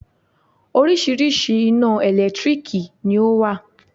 Oríṣiríṣi ina ẹ̀lẹ́tírìkì ni ọ wá.